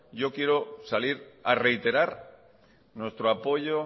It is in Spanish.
yo quiero salir a reiterar nuestro apoyo